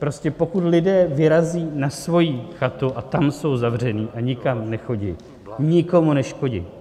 Prostě pokud lidé vyrazí na svoji chatu a tam jsou zavření a nikam nechodí, nikomu neškodí.